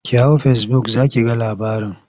Ki hau fesibuk za ki ga labarin.